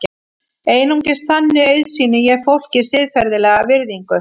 Einungis þannig auðsýni ég fólki siðferðilega virðingu.